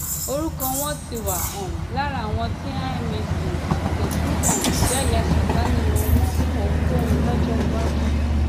orúkọ wọn ti wà um lára àwọn tí imac kò tún um jẹ ya sàkáání wọn mọ fún ohunkóhun lọjọ iwájú